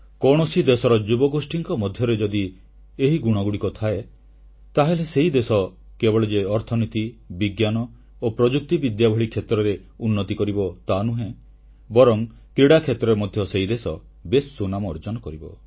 କୌଣସି ଦେଶର ଯୁବଗୋଷ୍ଠୀଙ୍କ ମଧ୍ୟରେ ଯଦି ଏହି ଗୁଣଗୁଡ଼ିକ ଥାଏ ତାହେଲେ ସେହି ଦେଶ କେବଳ ଯେ ଅର୍ଥନୀତି ବିଜ୍ଞାନ ଓ ପ୍ରଯୁକ୍ତିବିଦ୍ୟା ଭଳି କ୍ଷେତ୍ରରେ ଉନ୍ନତି କରିବ ତାହାନୁହେଁ ବରଂ କ୍ରୀଡ଼ା କ୍ଷେତ୍ରରେ ମଧ୍ୟ ସେହି ଦେଶ ବେଶ୍ ସୁନାମ ଅର୍ଜନ କରିବ